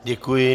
Děkuji.